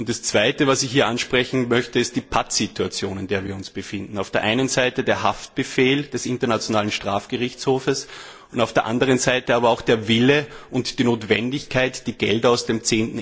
Das Zweite, das ich hier ansprechen möchte, ist die Patt Situation, in der wir uns befinden Auf der einen Seite der Haftbefehl des Internationalen Strafgerichtshofes, und auf der anderen Seite aber auch der Wille und die Notwendigkeit, die Gelder aus dem